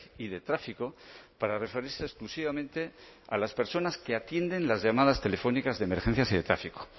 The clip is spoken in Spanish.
y de tráfico para referirse exclusivamente a las personas que atienden las llamadas telefónicas de emergencias y de tráfico